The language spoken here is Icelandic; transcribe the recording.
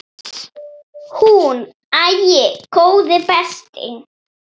Hún: Æi, góði besti.!